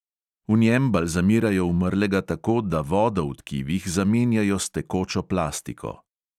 V njem balzamirajo umrlega tako, da vodo v tkivih zamenjajo s tekočo plastiko.